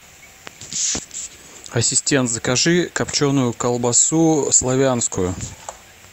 ассистент закажи копченую колбасу славянскую